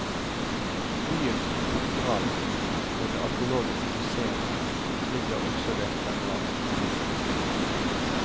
Byens katedral og det arkeologiske museum ligger også ved denne veien. punktum